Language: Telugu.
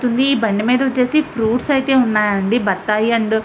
ఈ బండి మీద వచ్చేసి ఫ్రూప్ట్స్ ఐతే ఉనాయి అండి. బత్తాయి అండ్ --